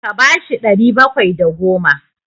Ka ba shi ɗari bakwai da goma!